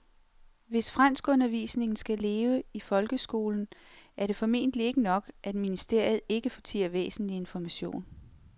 Hvis franskundervisningen skal leve i folkeskolen er det formentlig ikke nok, at ministeriet ikke fortier væsentlig information.